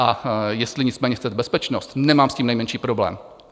A jestli nicméně chcete bezpečnost, nemám s tím nejmenší problém.